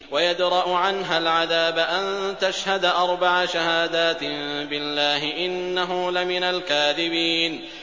وَيَدْرَأُ عَنْهَا الْعَذَابَ أَن تَشْهَدَ أَرْبَعَ شَهَادَاتٍ بِاللَّهِ ۙ إِنَّهُ لَمِنَ الْكَاذِبِينَ